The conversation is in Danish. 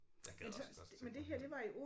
Jeg gad også godt til Grønland